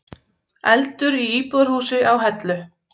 Eldur í íbúðarhúsi á Hellu